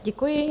Děkuji.